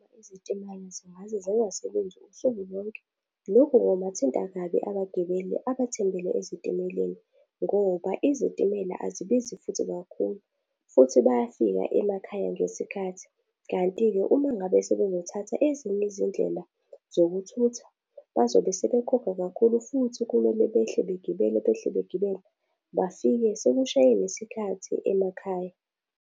Izitimela zingase zingasebenzi usuku lonke. Lokhu kungabathinta kabi abagibeli abathembele ezitimeleni, ngoba izitimela azibizi futhi kakhulu. Futhi bayafika emakhaya ngesikhathi, kanti-ke uma ngabe sebezothatha ezinye izindlela zokuthutha, bazobe sebekhokha kakhulu futhi kumele behle begibele, behle begibele. Bafike sekushaye nesikhathi emakhaya.